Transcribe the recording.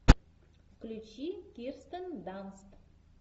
включи кирстен данст